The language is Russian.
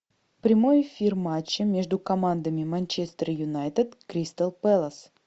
прямой эфир матча между командами манчестер юнайтед кристал пэлас